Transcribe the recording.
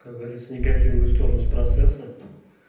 как говорится негативную сторону с процесса